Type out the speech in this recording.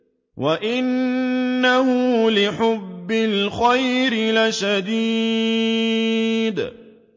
وَإِنَّهُ لِحُبِّ الْخَيْرِ لَشَدِيدٌ